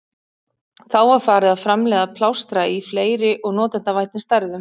Þá var farið að framleiða plástra í fleiri og notendavænni stærðum.